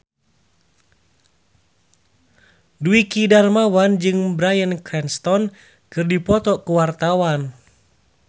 Dwiki Darmawan jeung Bryan Cranston keur dipoto ku wartawan